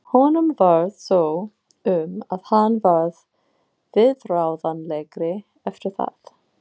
Honum varð svo um að hann varð viðráðanlegri eftir það.